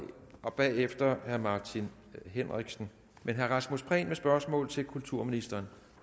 og bagefter herre martin henriksen men herre rasmus prehn med spørgsmål til kulturministeren